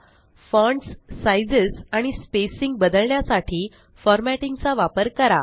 fonts sizes आणि spacing बदलण्यासाठी formatting चा वापर करा